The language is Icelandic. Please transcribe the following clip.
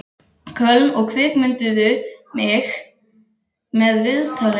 Köln og kvikmynduðu mig með viðtali.